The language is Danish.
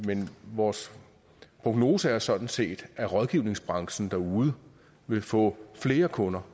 vores prognose er sådan set at rådgivningsbranchen derude vil få flere kunder